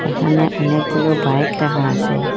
এখানে অনেকগুলো বাইক রাখা আসে ।